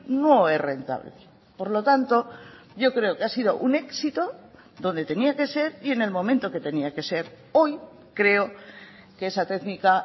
no es rentable por lo tanto yo creo que ha sido un éxito donde tenía que ser y en el momento que tenía que ser hoy creo que esa técnica